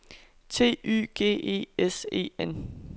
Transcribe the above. T Y G E S E N